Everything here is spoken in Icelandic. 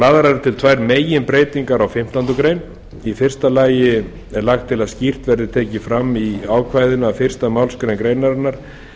lagðar eru til tvær meginbreytingar á fimmtándu grein í fyrsta lagi er lagt til að skýrt verði tekið fram í ákvæðinu að fyrsta málsgrein greinarinnar